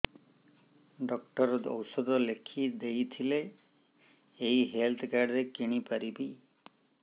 doctor ଔଷଧ ଲେଖିଦେଇଥିଲେ ଏଇ ହେଲ୍ଥ କାର୍ଡ ରେ କିଣିପାରିବି